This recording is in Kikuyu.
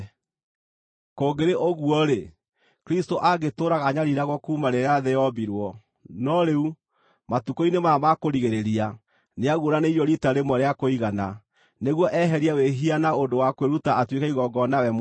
Kũngĩrĩ ũguo-rĩ, Kristũ angĩtũũraga anyariiragwo kuuma rĩrĩa thĩ yombirwo. No rĩu, matukũ-inĩ maya ma kũrigĩrĩria, nĩaguũranĩirio riita rĩmwe rĩa kũigana nĩguo eherie wĩhia na ũndũ wa kwĩruta atuĩke igongona we mwene.